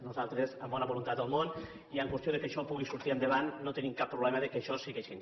nosaltres amb bona voluntat del món i per qüestió que això pugui sortir endavant no tenim cap problema que això sigui així